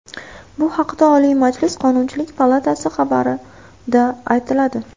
Bu haqda Oliy Majlis Qonunchilik palatasi xabari da aytiladi.